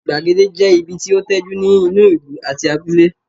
Gbàgede jẹ́ ibi tí ó tẹ́jú ní inú ìlú àti abúlé